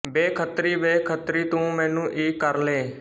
ਵੇ ਖੱਤਰੀ ਵੇ ਖੱਤਰੀ ਤੂੰ ਮੈਨੂੰ ਈ ਕਰਲੈ